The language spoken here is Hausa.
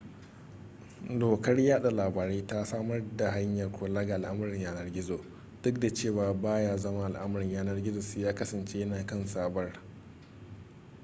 dokar yada labarai ta samar da hanyar kula ga al'amuran yanar gizo duk da cewa baya zama al'amarin yanar gizo sai ya kasance yana kan sabar